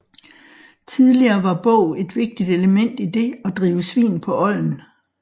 Tidligere var bog et vigtigt element i det at drive svin på olden